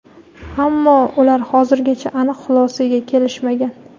Ammo ular hozirgacha aniq xulosaga kelishmagan.